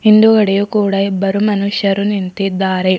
ಹಿಂದುಗಡೆ ಕೂಡ ಇಬ್ಬರು ಮನುಷ್ಯರು ನಿಂತಿದ್ದಾರೆ.